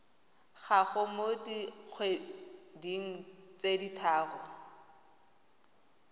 gago mo dikgweding tse tharo